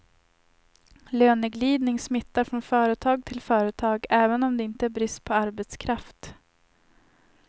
Löneglidning smittar från företag till företag, även om det inte är brist på arbetskraft.